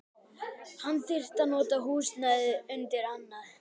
Hann þyrfti að nota húsnæðið undir annað.